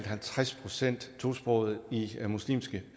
halvtreds procent tosprogede i muslimske